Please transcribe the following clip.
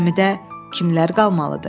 Gəmidə kimlər qalmalıdır?